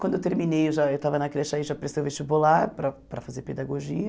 Quando eu terminei, eu já eu estava na creche aí, já prestei o vestibular para para fazer pedagogia.